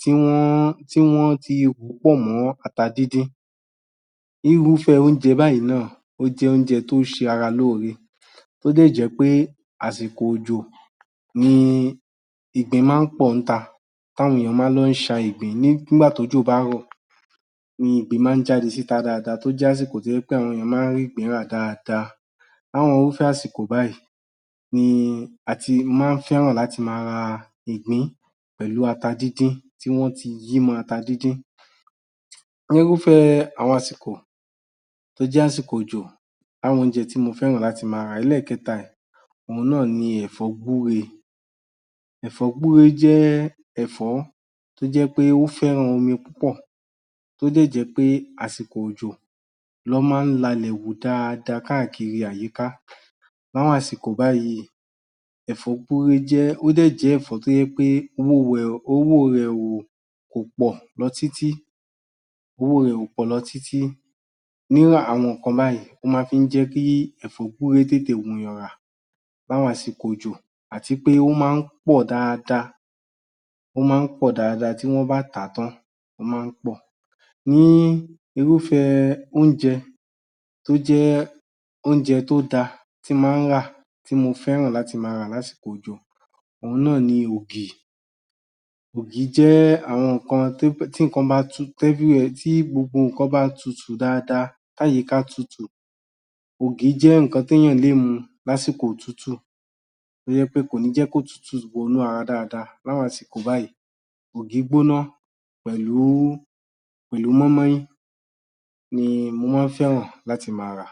[tí wọ́n…?] tí wọ́n ti rò ó pọ̀ mọ́ ata dídín. Irúfẹ́ oúnjẹ báyìí náà ó jẹ́ oúnjẹ tó ṣe ara lóore tó dẹ̀ jẹ́ pé àsìkò òjò ni ìgbín máa ń pọ̀ ńta tàwọn èèyàn máa ń lọ ṣa ìgbín. Nígbà tójò bá rọ̀ ni ìgbín máa ń jáde síta dáadáa tó jásìkò tó jẹ́ wí pé àwọn èèyàn máa ń rígbìn-ín rà dáadáa. Láwọn irúfẹ́ àsìkò báyìí ni a ti máa ń fẹ́ràn láti máa ra ìgbín pẹ̀lú ata dídín tí wọ́n ti yí mọ́ ata dídín. Nírúfẹ́ àwọn àsìkò tó jẹ́ àsìkò òjò, àwọn oúnjẹ tí mo fẹ́ràn láti máa rà. Ẹlẹ́ẹ̀kẹta ẹ̀; òun náà ni ẹ̀fọ́ gbúre. Ẹ̀fọ́ gbúre jẹ́ ẹ̀fọ́ tó jẹ́ pé ó fẹ́ràn omi púpọ̀ tó dẹ̀ jẹ́ pé àsìkò òjò lọ́n máa ń lalẹ̀ hù dáadáa káàkiri àyíká. Láwọn àsìkò báyìí, ẹ̀fọ́ gbúre jẹ́ […?] ó dẹ̀ jẹ́ ẹ̀fọ́ tó jẹ́ pé [owó rẹ̀, owó rẹ o… kò pọ̀ lọ títí] owó rẹ̀ ò pọ̀ lọ títí. Nírú àwọn nǹkan báyìí, ó máa fi ń jẹ́ kí ẹ̀fọ́ gbúre tètè wùnyàn rà láwọn àsìkò òjò àti pé ó máa ń pọ̀ dáadáa. Ó máa ń pọ̀ dáadáa tí wọ́n bá tà á tán, ó máa ń pọ̀. Ní irúfẹ́ oúnjẹ tó jẹ́ oúnjẹ tó dáa tí n máa ń ra tí mo fẹ́ràn láti máa rà lásìkò òjò, òun náà ni ògì. Ògì jẹ́ àwọn nǹkan tó jẹ́…?] tí nǹkan bá tu..?] tí everywhere tí gbogbo nǹkan bá tùtù dáadáa tí àyíká tutù, ògì jẹ́ nǹkan téèyàn lè mu lásìkò òtútù tó jẹ́ pé kò ní jẹ́ kótùútù wọnú ara dáadáa láwọn àsìkò báyìí. Ògì gbónà [pẹ̀lú..,?] pẹ̀lú mọ́ín-mọ́ín ni mo máa ń fẹ́ràn láti máa rà.